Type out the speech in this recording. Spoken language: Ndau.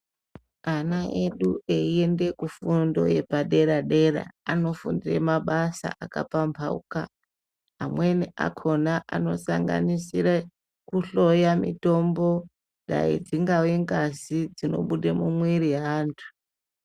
Ana edu eienda kufundo yepadera dera vanofundira mabasa akapamhauka amweni akhona anosanganisire kuhloya mitombo dai dzingava ngazi dzinobuda mumiri yevantu.